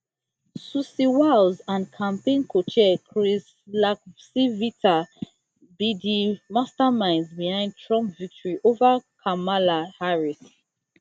susie wiles and campaign cochair chris lacivita be di masterminds behind trump victory over kamala harris